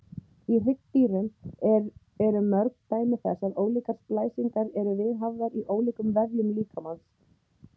Í hryggdýrum eru mörg dæmi þess að ólíkar splæsingar eru viðhafðar í ólíkum vefjum líkamans.